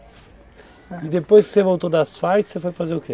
E depois que você voltou das Farc, você foi fazer o quê?